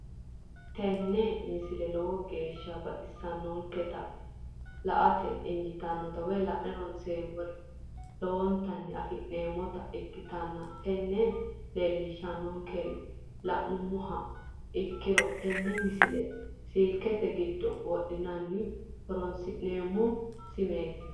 tini misile lowo geeshsha baxissannote la"ate injiitanno woy la'ne ronsannire lowote afidhinota ikkitanna tini leellishshannonkeri la'nummoha ikkiro tini misile silkenke giddo wodhine horoonsi'neemmo simeeti.